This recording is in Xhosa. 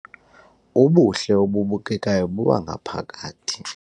Ubuhle obubukekayo bobangaphakathi